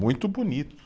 Muito bonito.